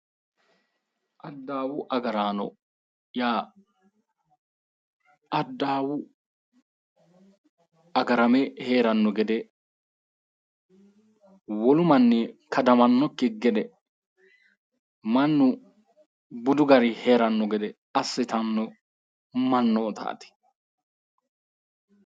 Adawu agarano yaa adawu agarame heerano gede wolu manni kadamanokki gede mannu budu garinni heerano gede assittano mannottati.